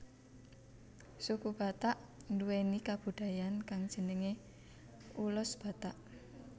Suku Batak nduwèni kabudayaan kang jenengé ulos Batak